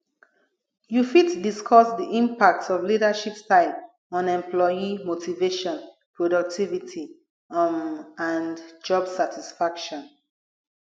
you fit discuss di impact of leadership style on employee motivation productivity um and job satisfaction